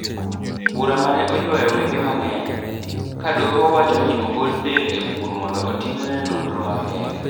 Bura mane oywayo wenge mangeny. Ka doho wacho ni ogol del e bur mondo otimne nonro makende.